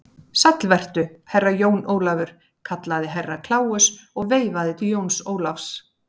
Sæll vertu, Herra Jón Ólafur, kallaði Herra Kláus og veifaði til Jóns Ólafs.